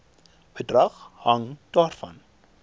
bedrag hang daarvan